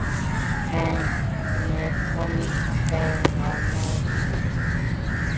Hvernig komust þeir á mótið?